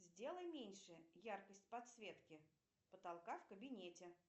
сделай меньше яркость подсветки потолка в кабинете